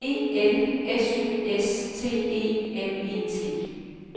E L S Y S T E M E T